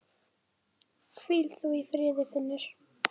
Hvíl þú í friði Finnur.